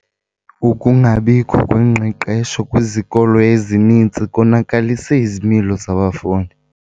Ukungabikho kwengqeqesho kwizikolo ezininzi konakalise izimilo zabafundi.